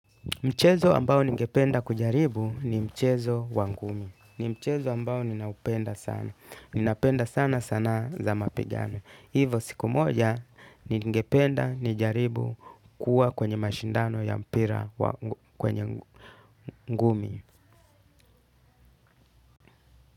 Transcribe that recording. Mchezo ambao ningependa kujaribu ni mchezo wa ngumi. Ni mchezo ambao ninaupenda sana. Nina penda sana sana za mapigano. Hivyo siku moja ningependa nijaribu kuwa kwenye mashindano ya mpira kwenye ngumi.